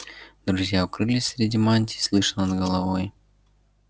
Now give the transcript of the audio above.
друзья укрылись среди мантий слыша над головой